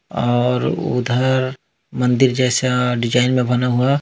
और उधर मंदिर जैसा डिजाइन में बना हुआ--